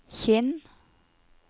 Kinn